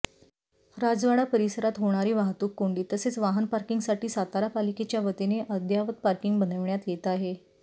राजवाडा परिसरात होणारी वाहतूक कोंडी तसेच वाहन पार्किंगसाठी सातारा पालिकेच्यावतीने अद्ययावत पार्किंग बनविण्यात येत आहे